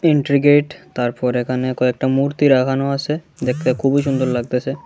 ইন্ট্রি gate তারপর এখানে কয়েকটা মূর্তি রাগানো আসে দেখতে খুবই সুন্দর লাগতাছে।